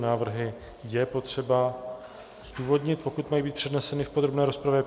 Návrhy je potřeba zdůvodnit, pokud mají být předneseny v podrobné rozpravě.